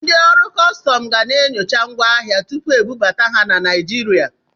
Ndị ọrụ kọstọm ga na-enyocha ngwa ahịa tupu ebubata ha na Naịjirịa.